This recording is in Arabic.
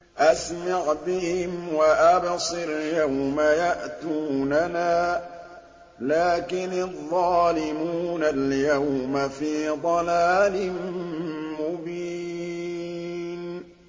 أَسْمِعْ بِهِمْ وَأَبْصِرْ يَوْمَ يَأْتُونَنَا ۖ لَٰكِنِ الظَّالِمُونَ الْيَوْمَ فِي ضَلَالٍ مُّبِينٍ